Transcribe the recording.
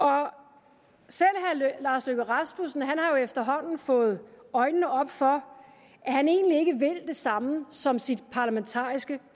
herre lars løkke rasmussen har jo efterhånden fået øjnene op for at han egentlig ikke vil det samme som sit parlamentariske